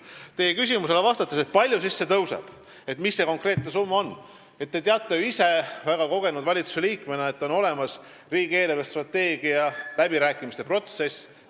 Vastates teie küsimusele, kui palju see siis tõuseb, et mis see konkreetne summa on, ütlen, et te teate ju ise väga kogenud valitsusliikmena, et on olemas riigi eelarvestrateegia läbirääkimiste protsess.